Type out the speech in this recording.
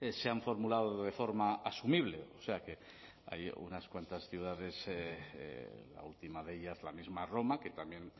se han formulado de forma asumible o sea que hay unas cuantas ciudades la última de ellas la misma roma que también